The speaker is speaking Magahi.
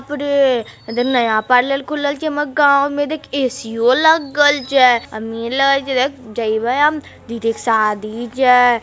बाप रे इदहेर नया पार्लर खुलल छे हमर गाव में देख एसी ओ लग्गल छे जइबे हम दीदी के शादी छे।